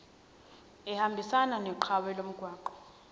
ehambisana nophawu lomgwaqo